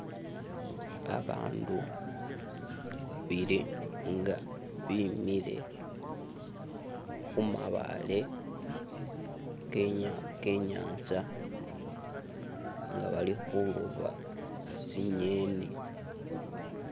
Abandu babili inga bimile khumabaale kenya kenyantsa ngabalikhuloba tsinyeni